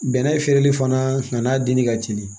Bɛnɛ feereli fana n'a denni ka teli